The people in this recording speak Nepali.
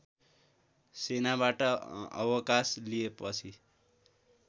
सेनाबाट अवकास लिएपछि